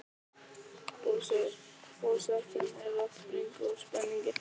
Forsetinn er að springa úr spenningi.